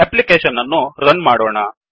application ಅನ್ನು run ಮಾಡೋಣ